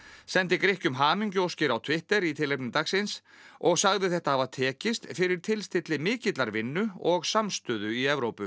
sendi Grikkjum hamingjuóskir á Twitter í tilefni dagsins og sagði þetta hafa tekist fyrir tilstilli mikillar vinnu og samstöðu í Evrópu